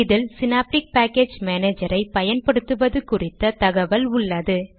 இதில் Synaptic package மானேஜரை பயன்படுத்துவது குறித்த தகவல் உள்ளது